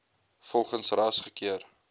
volgens ras gekeur